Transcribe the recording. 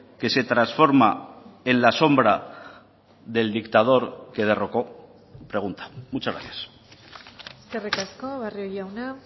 que se transforma en la sombra del dictador que derrocó pregunta muchas gracias eskerrik asko barrio jauna